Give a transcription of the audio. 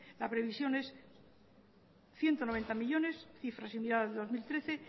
la previsión es ciento noventa millónes cifra similar al de dos mil trece